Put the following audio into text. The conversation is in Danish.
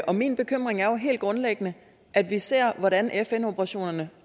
og min bekymring er helt grundlæggende at vi ser hvordan fn operationerne